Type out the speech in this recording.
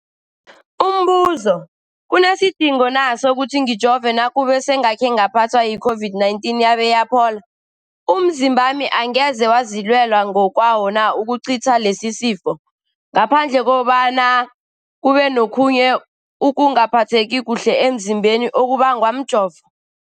Umbuzo, kunesidingo na sokuthi ngijove nakube sengakhe ngaphathwa yi-COVID-19 yabe yaphola? Umzimbami angeze wazilwela ngokwawo na ukucitha lesisifo, ngaphandle kobana kube nokhunye ukungaphatheki kuhle emzimbeni okubangwa mjovo?